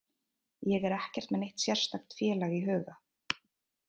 Ég er ekkert með neitt sérstakt félag í huga.